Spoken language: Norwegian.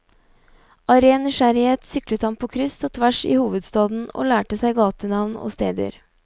Av ren nysgjerrighet syklet han på kryss og tvers i hovedstaden og lærte seg gatenavn og steder.